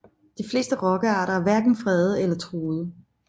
De fleste rokkearter er hverken fredede eller truede